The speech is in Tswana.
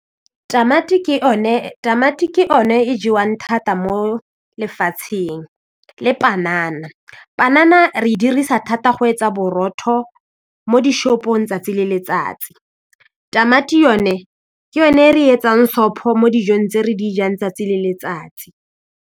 Tamati ke one e jewang thata mo lefatsheng le panana, panana re e dirisa thata go etsa borotho mo di shop-ong tsatsi le letsatsi tamati yone ke yone re etsang stop mo dijong tse re dijang tsatsi le letsatsi.